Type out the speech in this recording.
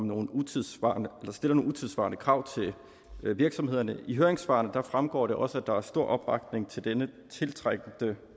nogle utidssvarende utidssvarende krav til virksomhederne af høringssvarene fremgår det også at der er stor opbakning til denne tiltrængte